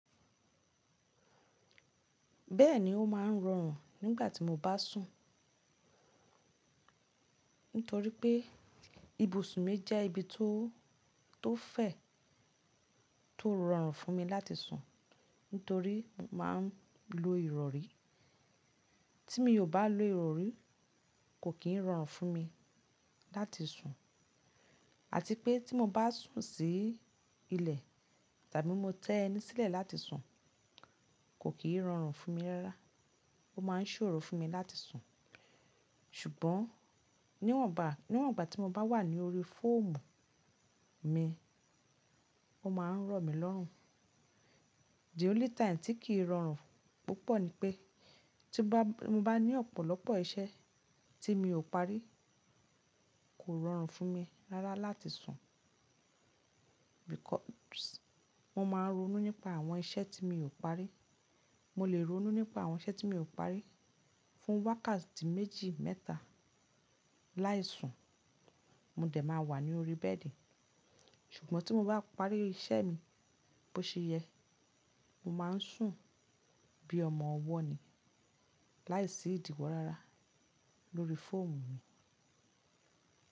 Bẹ́ẹ̀ni, ó máa ń rọrùn nígbà tí mo bá sùn. Nítorí pé ibùsùn mi jẹ́ ibi tó, tó fẹ̀, tó rọrùn fún mi láti sùn, nítorí máa ń lo ìrọrí. Tí mi ò bá lo ìrọrí, kò kì í rọrùn fún mi láti sùn. Àti pé tí mo bá sùn sí ilẹ̀ tàbí mo tẹ́ ẹni sílẹ̀ láti sùn, kò kì í rọrùn fún mi rárá. Ó máa ń ṣòro fún mi láti sùn. Ṣùgbọ́n níwọ̀nba, níwọ̀nba tí mo bá wà ní orí fọ́ọ̀mù mi, ó máa ń rọ̀ mi lọ́rùn. The only time tí kì í rọrùn púpọ̀ ni pé tí bá, mo bá ní ọ̀pọ̀lọpọ̀ iṣẹ́ tí mi ò parí, kò rọrùn fún mi rárá láti sùn. Because mo máa ń ronú nípa àwọn iṣẹ́ tí mi ò parí. Mo lè ronú nípa àwọn iṣẹ́ tí mi ò parí fún wákàtí méjì mẹ́ta láì sùn. Mo dẹ̀ máa wà ní orí bẹ́ẹ̀dì. Ṣùgbọ́n tí mo bá parí iṣẹ́ mi bó ṣe yẹ, mo máa ń sùn bí ọmọ ọwọ́ ni láì sí ìdìwò rárá lórí fọ́ọ̀mù mi.